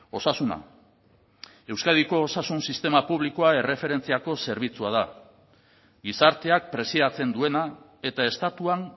osasuna euskadiko osasun sistema publikoa erreferentziako zerbitzua da gizarteak preziatzen duena eta estatuan